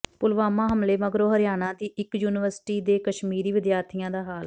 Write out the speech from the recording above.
ਪੁਲਵਾਮਾ ਹਮਲੇ ਮਗਰੋਂ ਹਰਿਆਣਾ ਦੀ ਇੱਕ ਯੂਨੀਵਰਸਿਟੀ ਦੇ ਕਸ਼ਮੀਰੀ ਵਿਦਿਆਰਥੀਆਂ ਦਾ ਹਾਲ